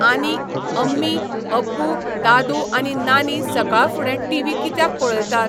आनी अम्मी, अब्बू, दादू आनी नानी सकाळ फुडें टिवी कित्याक पळयतात?